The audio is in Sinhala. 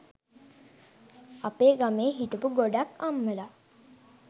අපේ ගමේ හිටපු ගොඩක් අම්මලා